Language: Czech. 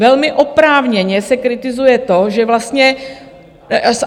Velmi oprávněně se kritizuje to, že vlastně...